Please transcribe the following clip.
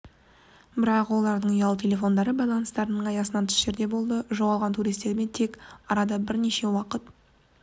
бірақ олардың ұялы телефондары байланыстарын аясынан тыс жерде болды жоғалған туристермен тек арада бірнеше уақыт